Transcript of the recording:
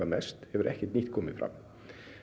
mest hefur ekkert nýtt komið fram